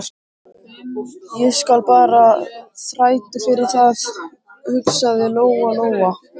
Ég skal bara þræta fyrir það, hugsaði Lóa-Lóa.